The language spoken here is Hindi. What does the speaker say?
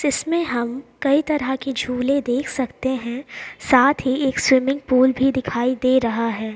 जिसमे हम कई तरह के झूले देख सकते हैं साथ ही एक स्विमिंग पूल भी दिखाई दे रहा हैं।